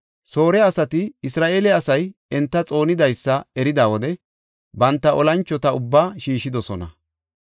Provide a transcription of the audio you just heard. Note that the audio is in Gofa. Soore asati Isra7eele asay enta xoonidaysa erida wode banta olanchota ubbaa shiishidosona.